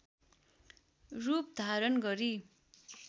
रूप धारण गरी